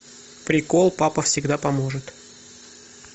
прикол папа всегда поможет